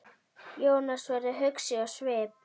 Jónas verður hugsi á svip.